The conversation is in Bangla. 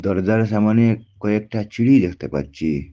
দরজার সামোনে কয়েকটা ছিড়ি দেখতে পাচ্ছি।